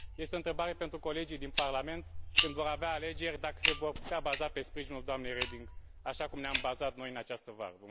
Este o întrebare pentru colegii din Parlament, când vor avea alegeri dacă se vor putea baza pe sprijinul doamnei Reding, așa cum ne am bazat noi în această vară.